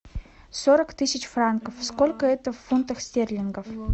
сорок тысяч франков сколько это в фунтах стерлингов